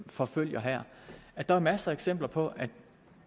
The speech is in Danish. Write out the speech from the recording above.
forfølger her er der masser af eksempler på